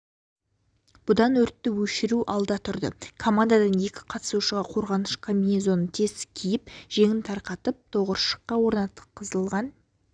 бұдан өртті өшіру алда тұрды командадан екі қатысушыға қорғаныш комбинезонын тез киіп жеңін тарқатып тығыршыққа орнатылған